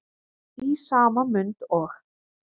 Í sama mund og